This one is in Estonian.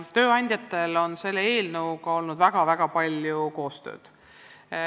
Tööandjatega on meil selle eelnõu tegemisel olnud väga-väga palju koostööd.